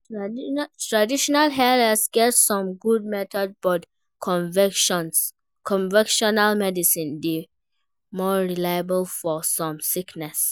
traditional healers get some good methods but convictional medicine dey more reliable for some sickness.